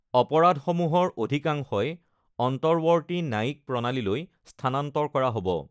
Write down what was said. অপৰাধসমূহৰ অধিকাংশই অন্তঃৱৰ্তী ন্যায়িক প্ৰণালীলৈ স্থানান্তৰ কৰা হ ব।